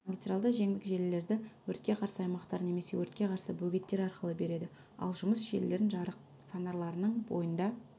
магистралды жеңдік желілерді өртке қарсы аймақтар немесе өртке қарсы бөгеттер арқылы береді ал жұмыс желілерін жарық фонарларының бойында